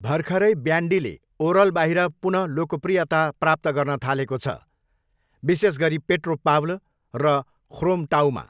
भर्खरै ब्यान्डीले ओरलबाहिर पुन लोकप्रियता प्राप्त गर्न थालेको छ, विशेष गरी पेट्रोपाव्ल र ख्रोमटाऊमा।